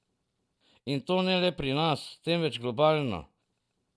In to ne le pri nas, temveč globalno.